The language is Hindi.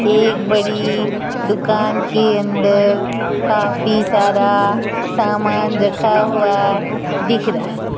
एक बड़ी दुकान के अंदर काफी सारा सामान रखा हुआ दिख रहा।